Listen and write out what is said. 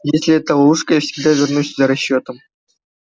если это ловушка я всегда вернусь за расчётом